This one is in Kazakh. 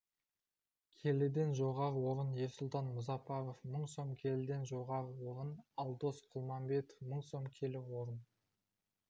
келіден жоғары орын ерсұлтан мұзапаров мың сом келіден жоғары орын алдос құлманбетов мың сом келі орын